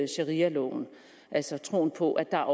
sharialoven altså troen på at der